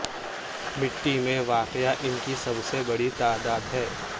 مٹی میں واقع ان کی سب سے بڑی تعداد ہے